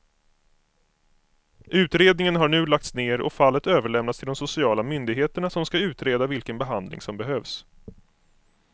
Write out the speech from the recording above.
Utredningen har nu lagts ner och fallet överlämnats till de sociala myndigheterna som ska utreda vilken behandling som behövs.